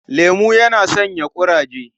Lemo yana sanya kuzari.